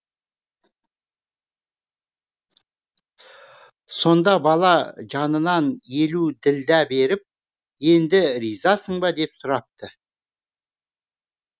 сонда бала жанынан елу ділдә беріп енді ризасың ба деп сұрапты